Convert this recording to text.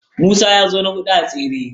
Musa ya zo na huɗu a tseren.